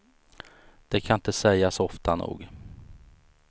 Det kan inte sägas ofta nog.